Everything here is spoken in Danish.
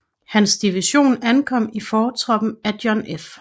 Hans division ankom i fortroppen af John F